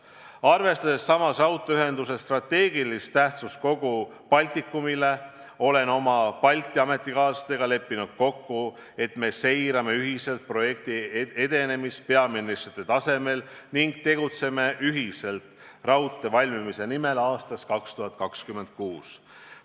Samas, arvestades raudteeühenduse strateegilist tähtsust kogu Baltikumile, olen oma Balti ametikaaslastega kokku leppinud, et me seirame projekti edenemist ühiselt peaministrite tasemel ning tegutseme üheskoos selle nimel, et raudtee valmiks aastaks 2026.